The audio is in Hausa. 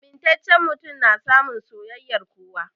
Amintacen mutum na samun soyayyar kowa